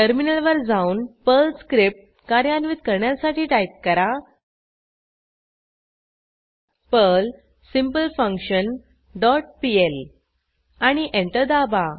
टर्मिनलवर जाऊन Perl script कार्यान्वित करण्यासाठी टाईप करा पर्ल सिम्पलफंक्शन डॉट पीएल आणि एंटर दाबा